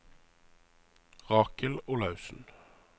Rakel Olaussen